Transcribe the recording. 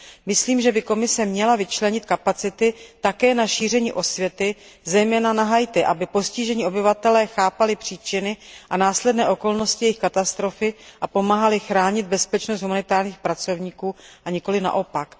Myslím, že by Komise měla vyčlenit kapacity také na šíření osvěty zejména na Haiti, aby postižení obyvatelé chápali příčiny a následné okolnosti jejich katastrofy a pomáhali chránit bezpečnost humanitárních pracovníků, a nikoli naopak.